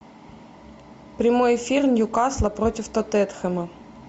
прямой эфир ньюкасла против тоттенхэма